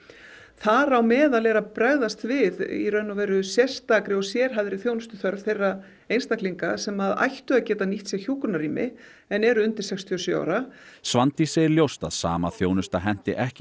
þar á meðal er að bregðast við sérstakri og sérhæfðri þjónustuþörf þeirra einstaklinga sem ættu að geta nýtt sér hjúkrunarrými en eru undir sextíu og sjö ára Svandís segir ljóst að sama þjónusta henti ekki